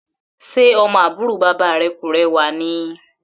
Ṣe ọmọ àbúrò bàbá rẹ kò rẹwà ni?